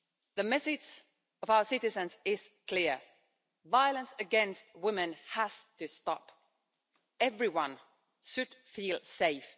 The message of our citizens is clear violence against women has to stop. Everyone should feel safe.